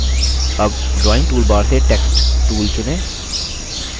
अब drawing toolbar से text tool चुनें